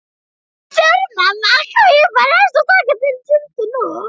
Við þurfum að kaupa nesti og taka til tjöldin og.